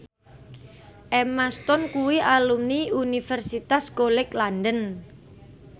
Emma Stone kuwi alumni Universitas College London